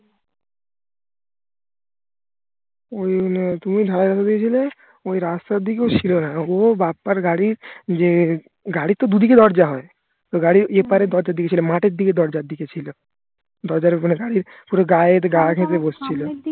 ওই তুমি ঢালাই রাস্তা দিয়ে ছিলে ওই রাস্তার দিকেও ছিল না ও বাপ্পার গাড়ির যে গাড়ির তো দু দিকে দরজা হয় গাড়ির এপারে দরজা দিকে ছিল মাঠের দিকের দরজার দিকে ছিল দরজার ওখানের গাড়ির পুরো গায়ের গাঁ ঘেসে বসছিলো